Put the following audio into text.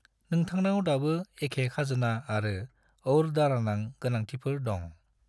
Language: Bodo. नोंथांनाव दाबो एखे खाजोना आरो और दारानां गोनांथिफोर दं।